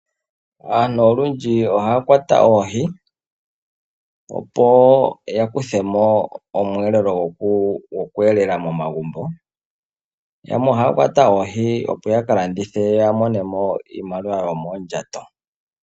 Aantu olundji ohaya kwata oohi opo ya kuthemo omweelelo goku elela momagumbo. Yamwe oha kwata oohi opo yaka landithe ya monemo iimaliwa yoomondjato.